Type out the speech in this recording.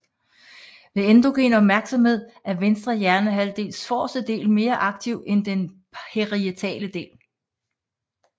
Ved endogen opmærksomhed er venstre hjernehalvdels forreste del mere aktiv end den parietale del